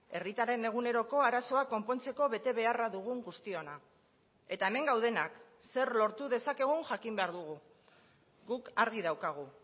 herritarren eguneroko arazoa konpontzeko betebeharra dugun guztiona eta hemen gaudenak zer lortu dezakegun jakin behar dugu guk argi daukagu